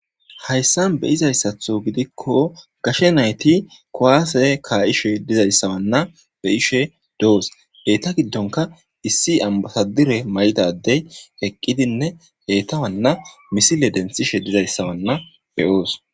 Haysan bezayissaton giddikko gashshe nayththi kuwasse ka'eshshe dizayssanna de'eshshe de'osona hegeththa giddonikka issi anbasadare atizza adde eqqidinne he'ta misile denitishshe dizzayissa be'os.